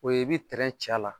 O ye i bɛ tɛrɛn ci a la